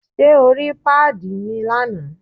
Ṣé o rí pàdí mi lánàá?